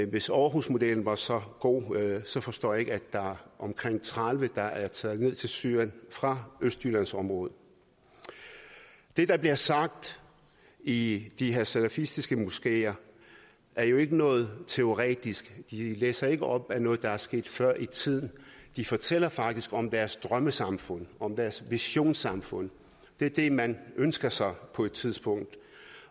hvis aarhusmodellen var så god så forstår jeg ikke at der er omkring tredive der er taget ned til syrien fra østjyllandsområdet det der bliver sagt i de her salafistiske moskeer er jo ikke noget teoretisk de læser ikke op af noget der er sket før i tiden de fortæller faktisk om deres drømmesamfund om deres visionssamfund det er det man ønsker sig på et tidspunkt